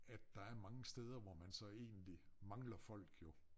At der er mange steder hvor man så egentlig mangler folk jo